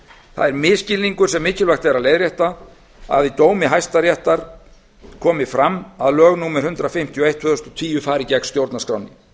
það er misskilningur sem mikilvægt er að leiðrétta að í dómi hæstaréttar komi fram að lög númer hundrað fimmtíu og eitt tvö þúsund og tíu fari gegn stjórnarskránni